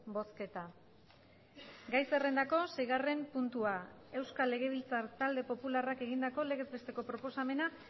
bozketa gai zerrendako seigarren puntua euskal legebiltzar talde popularrak egindako legez besteko proposamena